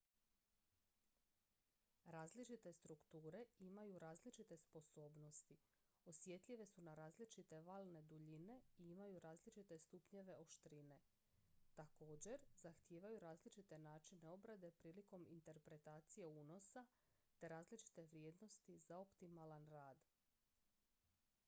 različite strukture imaju različite sposobnosti osjetljive su na različite valne duljine i imaju različite stupnjeve oštrine također zahtijevaju različite načine obrade prilikom interpretacije unosa te različite vrijednosti za optimalan rad